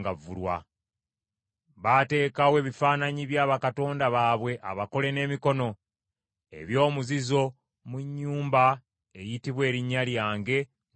Baateekawo ebifaananyi bya bakatonda baabwe abakole n’emikono, eby’omuzizo mu nnyumba eyitibwa Erinnya lyange ne bagyonoona.